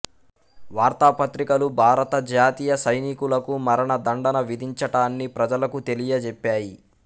వార్తా పత్రికలు భారత జాతీయ సైనికులకు మరణ దండన విధించటాన్ని ప్రజలకు తెలియచెప్పాయి